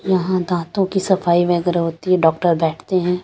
यहां दांतों की सफाई वगैरह होती है डॉक्टर बैठते हैं।